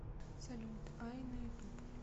салют ай на ютуб